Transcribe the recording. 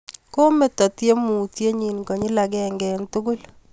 Kometo temutiennyi konyil agenge eng' tugul